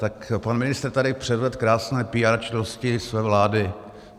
Tak pan ministr tady předvedl krásné píár činnosti své vlády.